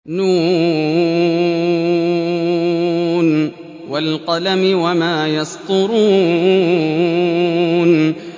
ن ۚ وَالْقَلَمِ وَمَا يَسْطُرُونَ